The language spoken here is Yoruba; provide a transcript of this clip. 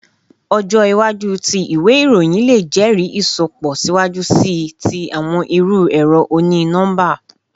Ọjọ iwaju ti iwe iroyin le jẹri isọpọ siwaju sii ti awọn iru ẹrọ oni-nọmba